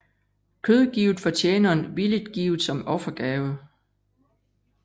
Kød givet fra tjeneren villigt givet som offergave